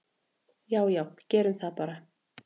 """Já já, gerum það bara."""